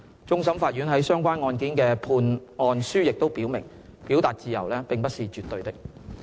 終審法院在相關案件的判案書亦表明，表達自由並不是絕對的。